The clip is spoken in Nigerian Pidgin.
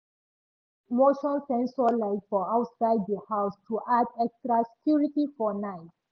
e fix motion sensor light for outside the house to add extra security for night.